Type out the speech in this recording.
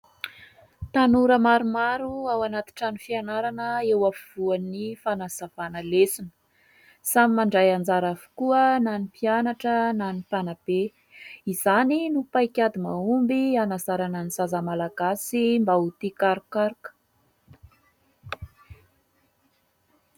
Tanora maromaro ao anaty trano fianarana eo afovoan'ny fanazavana lesona. Samy mandray anjara avokoa na ny mpianatra na ny mpanabe. Izany no paikady mahomby hanazarana ny zaza malagasy mba ho tia karokaroka.